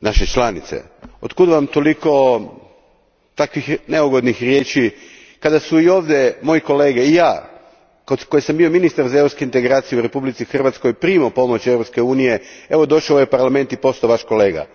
naše članice? Otkud Vam toliko takvih neugodnih riječi kada smo ovdje moji kolege i ja, koji sam bio ministar za Europske integracije u Republici Hrvatskoj, primali pomoć Europske unije i evo došao sam u ovaj Parlament i postao Vaš kolega?